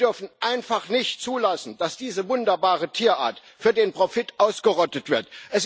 Wir dürfen einfach nicht zulassen, dass diese wunderbare Tierart für den Profit ausgerottet wird.